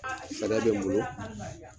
Sariya bɛ n bolo